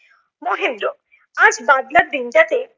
মহেন্দ্র, আজ বাদলার দিনটাতে